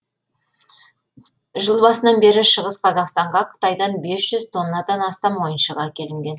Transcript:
жыл басынан бері шығыс қазақстанға қытайдан бес жүз тоннадан астам ойыншық әкелінген